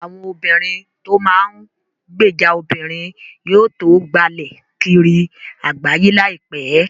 Àwọn obìrin tó n máa gbèjà obìnrin yóò tó gbalẹ̀ kiri àgbáyé láìpẹ́